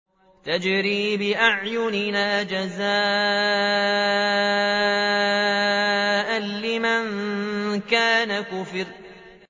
تَجْرِي بِأَعْيُنِنَا جَزَاءً لِّمَن كَانَ كُفِرَ